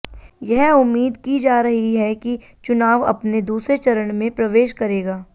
यह उम्मीद की जा रही है कि चुनाव अपने दूसरे चरण में प्रवेश करेगा